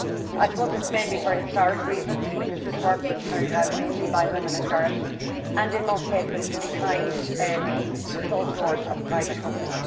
I suppose it is mainly for historic reasons, because this work was carried out mainly by women and girls and in most cases behind the closed doors of private homes.